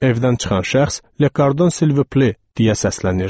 Evdən çıxan şəxs, "Lekardon Silviple" deyə səslənirdi.